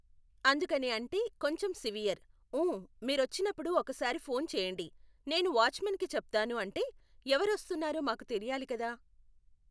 అందుకని అంటే కొంచెం సివియర్, ఉం మీరొచ్చినపుడు ఒకసారి ఫోన్ చేయండి, నేను వాచ్మాన్కి చెప్తాను అంటే ఎవరు వస్తున్నారో మాకు తెలియాలి కదా